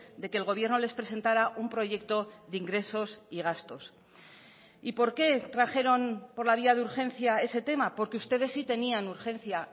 de que el gobierno les presentara un proyecto de ingresos y gastos y por qué trajeron por la vía de urgencia ese tema porque ustedes sí tenían urgencia